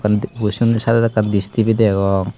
bossonne saedot ekkan dis tv degong.